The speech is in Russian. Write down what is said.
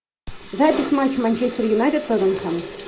запись матча манчестер юнайтед тоттенхэм